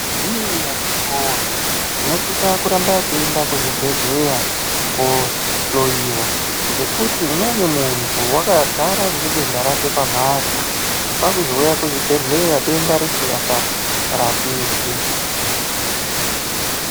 Hii akiti woye, tinosisa kuramba teienda kuzvibhedhleya koohloyiwa ngekuti umweni muntu wakagara ngedenda rake pamhatso, kwaakuzouya kuzvibhedhleya denda risingacharapiki.